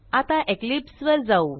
आता इक्लिप्स वर जाऊ